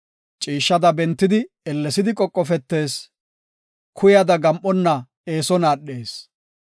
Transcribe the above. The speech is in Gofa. Ciishshada bentidi ellesidi qoqofetees; kuyada gam7onna eeson aadhees.